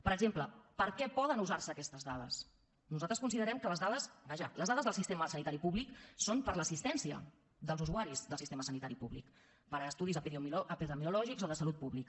per exemple per a què poden usar se aquestes dades nosaltres considerem que les dades vaja les dades del sistema sanitari públic són per a l’assistència dels usuaris del sistema sanitari públic per a estudis epidemiològics o de salut pública